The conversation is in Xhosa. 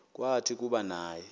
kwathi kuba naye